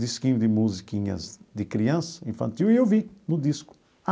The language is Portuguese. Disquinho de musiquinhas de criança, infantil, e eu vi no disco.